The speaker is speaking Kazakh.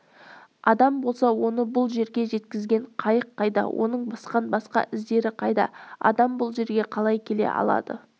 адам болса оны бұл жерге жеткізген қайық қайда оның басқан басқа іздері қайда адам бұл жерге қалай келе алады